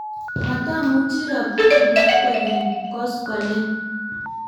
matamuchi robta nibo kwekeny koskoleny